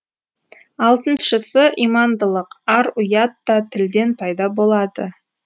алтыншысы имандылык ар у ят та тілден пайда болады